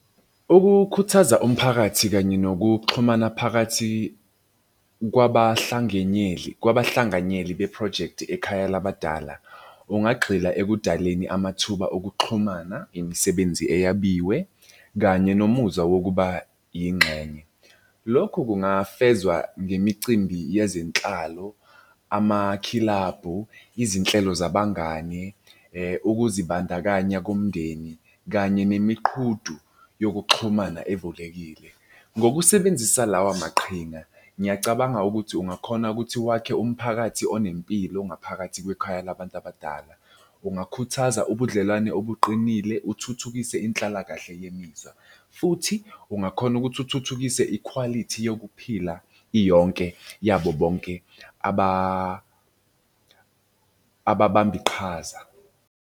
Ukukhuthaza umphakathi kanye nokuxhumana phakathi kwabahlanganyeli be-project ekhaya labadala. Ungagxila ekudaleni amathuba okuxhumana, imisebenzi eyabiwe, kanye nomuzwa wokuba yingxenye. Lokhu kungafezwa ngemicimbi yezinhlalo, amakhilabhu, izinhlelo zabangani, ukuzibandakanya komndeni, kanye nemiqhudu yokuxhumana evulekile. Ngokusebenzisa lawa maqhinga, ngiyacabanga ukuthi ungakhona ukuthi wakhe umphakathi onempilo ngaphakathi kwekhaya labantu abadala. Ungakhuthaza ubudlelwane obuqinile uthuthukise inhlakahle yemizwa, futhi ungakhona ukuthi uthuthukise ikhwalithi yokuphila, iyonke, yabo bonke ababambiqhaza.